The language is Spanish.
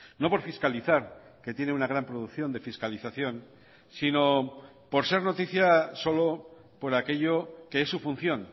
no por fiscalizar que tiene una gran producción de fiscalización sino por ser noticia solo por aquello que es su función